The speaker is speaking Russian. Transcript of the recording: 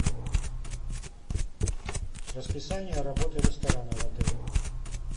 расписание работы ресторана в отеле